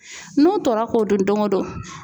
N'o tora k'o dun doŋo don